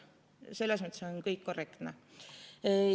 Selles mõttes on kõik korrektne.